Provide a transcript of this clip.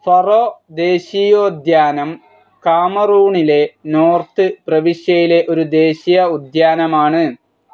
Faro ദേശീയോദ്യാനം കാമറൂണിലെ north പ്രവിശ്യയിലെ ഒരു ദേശീയ ഉദ്യാനമാണ്.